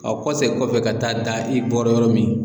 A kɔsegin kɔfɛ ka taa da i bɔra yɔrɔ min.